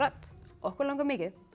okkur langar mikið